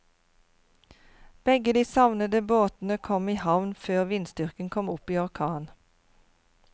Begge de savnede båtene kom i havn før vindstyrken kom opp i orkan.